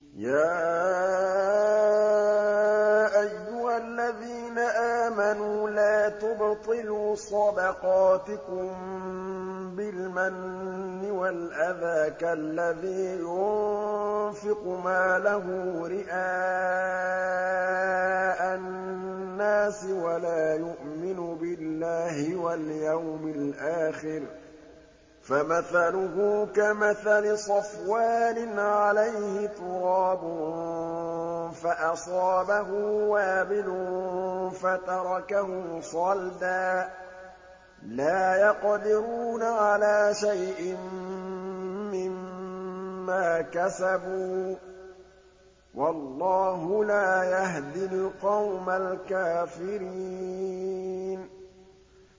يَا أَيُّهَا الَّذِينَ آمَنُوا لَا تُبْطِلُوا صَدَقَاتِكُم بِالْمَنِّ وَالْأَذَىٰ كَالَّذِي يُنفِقُ مَالَهُ رِئَاءَ النَّاسِ وَلَا يُؤْمِنُ بِاللَّهِ وَالْيَوْمِ الْآخِرِ ۖ فَمَثَلُهُ كَمَثَلِ صَفْوَانٍ عَلَيْهِ تُرَابٌ فَأَصَابَهُ وَابِلٌ فَتَرَكَهُ صَلْدًا ۖ لَّا يَقْدِرُونَ عَلَىٰ شَيْءٍ مِّمَّا كَسَبُوا ۗ وَاللَّهُ لَا يَهْدِي الْقَوْمَ الْكَافِرِينَ